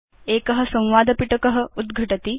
एक संवादपिटक उद्घटति